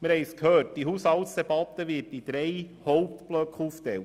Wir haben es gehört, die Haushaltsdebatte wird in drei Hauptblöcke aufgeteilt.